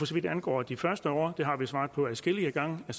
så vidt angår de første år har vi svaret adskillige gange at